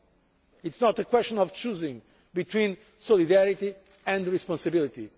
It is not a question of choosing between solidarity and responsibility.